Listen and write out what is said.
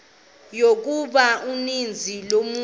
yokuba uninzi lolutsha